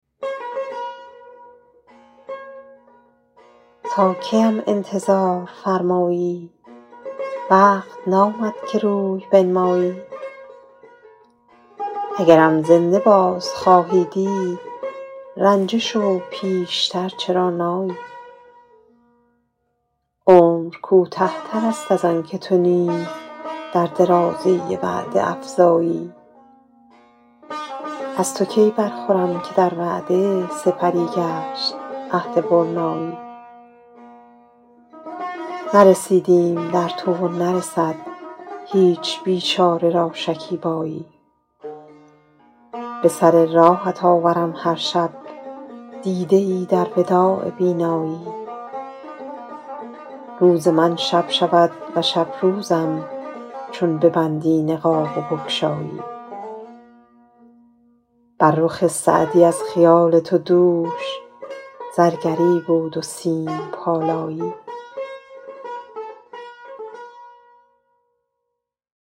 تا کی ام انتظار فرمایی وقت نامد که روی بنمایی اگرم زنده باز خواهی دید رنجه شو پیش تر چرا نایی عمر کوته تر است از آن که تو نیز در درازی وعده افزایی از تو کی برخورم که در وعده سپری گشت عهد برنایی نرسیدیم در تو و نرسد هیچ بیچاره را شکیبایی به سر راهت آورم هر شب دیده ای در وداع بینایی روز من شب شود و شب روزم چون ببندی نقاب و بگشایی بر رخ سعدی از خیال تو دوش زرگری بود و سیم پالایی